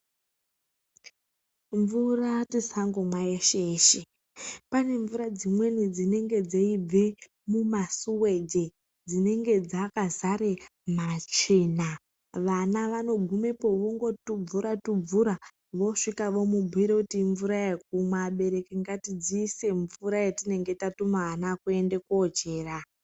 Mvura tisangomwa yeshe yeshe pane mvura dzimweni dzinenge dzeibve mumasuweji dzinenge dzakazare matsvina vana vanogumepo vongotubvura tubvura visvika vobumbire kuti imvura yekumwa , abereki ngatidziise mvura yatinenge tatuma ana kuende kochera.